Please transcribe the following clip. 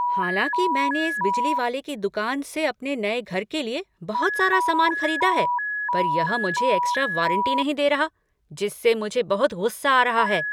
हालांकि मैंने इस बिजली वाले की दुकान से अपने नए घर के लिए बहुत सारे सामान खरीदा है, पर यह मुझे एक्स्ट्रा वारंटी नहीं दे रहा है जिससे मुझे बहुत गुस्सा आ रहा है।